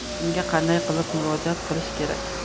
Unga qanday qilib murojaat qilish kerak?